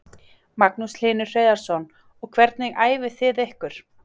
Magnús Hlynur Hreiðarsson: Og hvernig æfið þið ykkur?